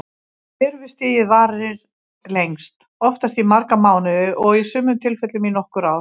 Lirfustigið varir lengst, oftast í marga mánuði og í sumum tilfellum í nokkur ár.